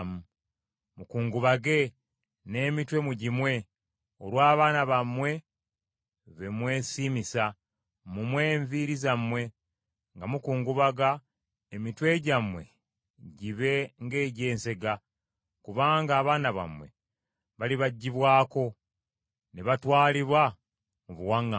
Mukungubage, n’emitwe mugimwe olw’abaana bammwe be mwesiimisa; mumwe enviiri zammwe nga mukungubaga, emitwe gyammwe gibe ng’egy’ensega, kubanga abaana bammwe balibaggyibwako ne batwalibwa mu buwaŋŋanguse.